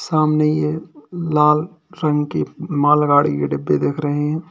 सामने यह लाल रंग के मालगाड़ी के डब्बे दिख रहे हैं।